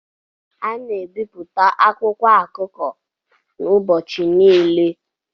A na-ebipụta akwụkwọ akụkọ kwa ụbọchị kwa ụbọchị